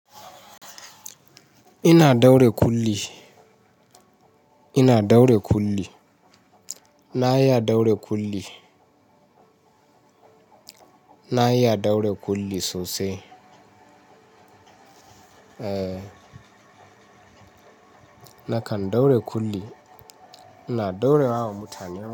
Ina daure kulli, ina daure kulli. Na iya daure kulli. Na iya daure kulli sosai. Eh, nakan daure kulli. Ina daure wa mutane.